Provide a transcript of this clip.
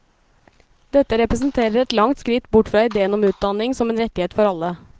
Dette representerer et langt skritt bort fra ideen om utdanning som en rettighet for alle.